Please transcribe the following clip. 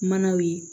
Manaw ye